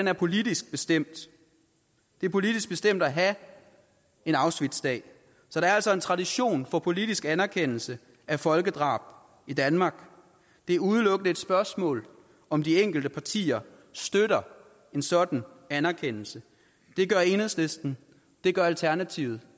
er politisk bestemt det er politisk bestemt at have en auschwitzdag så der er altså en tradition for politisk anerkendelse af folkedrab i danmark det er udelukkende et spørgsmål om de enkelte partier støtter en sådan anerkendelse det gør enhedslisten det gør alternativet